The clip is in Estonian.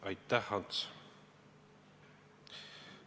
Aitäh, Ants!